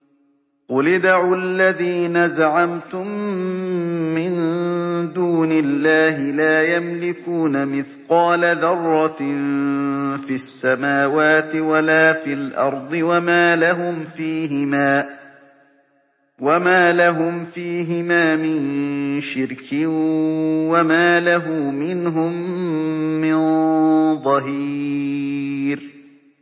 قُلِ ادْعُوا الَّذِينَ زَعَمْتُم مِّن دُونِ اللَّهِ ۖ لَا يَمْلِكُونَ مِثْقَالَ ذَرَّةٍ فِي السَّمَاوَاتِ وَلَا فِي الْأَرْضِ وَمَا لَهُمْ فِيهِمَا مِن شِرْكٍ وَمَا لَهُ مِنْهُم مِّن ظَهِيرٍ